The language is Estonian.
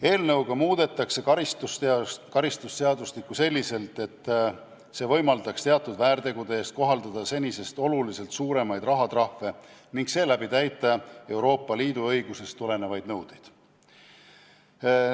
Eelnõuga muudetakse karistusseadustikku selliselt, et see võimaldaks teatud väärtegude eest kohaldada senisest oluliselt suuremaid rahatrahve ning seeläbi täita Euroopa Liidu õigusest tulenevaid nõudeid.